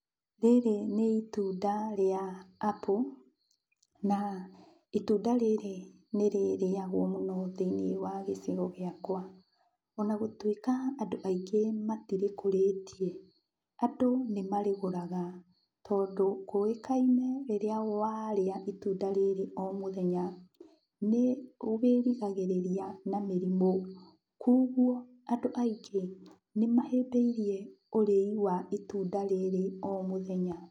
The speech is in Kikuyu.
Rĩrĩ nĩ itunda rĩa [cs apple na itunda rĩrĩ nĩrĩagwo mũno thĩiniĩ wa gĩcigo gĩakwa. Ona gũtuĩka andũ aingĩ matirĩkũrĩtie, andũ nĩmarĩgũraga. Tondũ kũĩkaine rĩrĩa warĩa itunda rĩrĩ o mũthenya nĩwĩrigagĩrĩria na mĩrimũ kuoguo andũ aingĩ nĩmahĩmbĩirie ũrĩi wa itunda rĩrĩ o mũthenya.